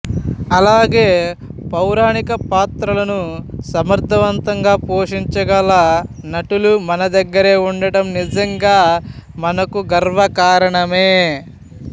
అలాగే పౌరాణిక పాత్రలను సమర్ధవంతంగా పోషించగల నటులు మన దగ్గరే ఉండటం నిజంగా మనకు గర్వ కారణమే